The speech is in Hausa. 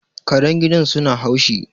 Karen gidan su na haushi